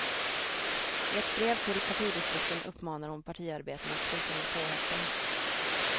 I ett brev till partidistrikten uppmanar hon partiarbetarna att sluta med påhoppen.